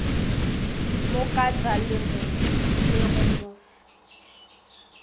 mo kata le go mo